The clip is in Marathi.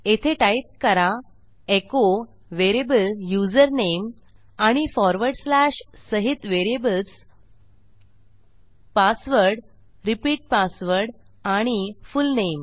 येथे टाईप करा एचो व्हेरिएबल युझरनेम आणि फॉरवर्ड स्लॅश सहित व्हेरिएबल्स पासवर्ड रिपीट पासवर्ड आणि फुलनेम